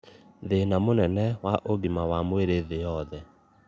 thina mũnene wa ũgima wa mwĩrĩ thĩ yothe